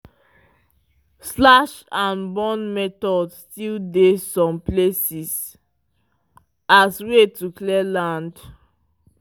slash and burn method still dey some places as way to clear land.